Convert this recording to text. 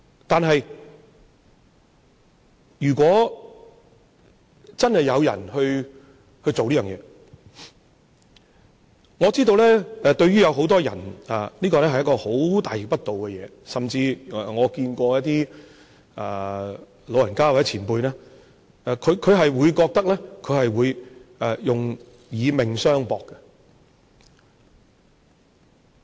但是，如果真有人做這件事，我知道對於很多人，這是一件非常大逆不道的事，甚至有些老人家或前輩表示，他們會覺得他們會以命相搏。